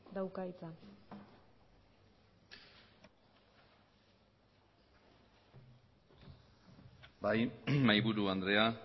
dauka hitza bai mahaiburu andrea